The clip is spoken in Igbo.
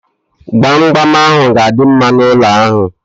Gbamgbam ahu ga-adị mma n'ụlọ ahu